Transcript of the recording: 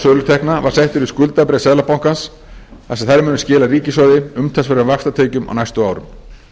sölutekna var settur í skuldabréf seðlabankans þar sem þær munu skila ríkissjóði umtalsverðum vaxtatekjum á næstu árum ríkisstjórnin hefur